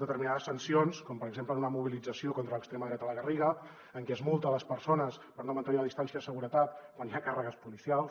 determinades sancions com per exemple en una mobilització contra l’extrema dreta a la garriga en que es multa les persones per no mantenir la distància de seguretat quan hi ha càrregues policials